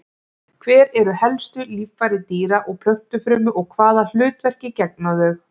Hver eru helstu líffæri dýra- og plöntufrumu og hvaða hlutverki gegna þau?